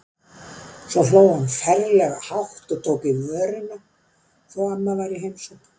Svo hló hann ferlega hátt og tók í vörina þó að amma væri í heimsókn.